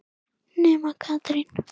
Nema Katrín.